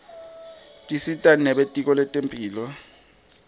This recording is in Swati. tisita nebelitko lentemphilo